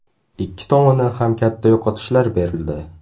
Ikki tomondan ham katta yo‘qotishlar berildi.